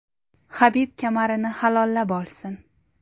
Habib kamarini halollab olsin.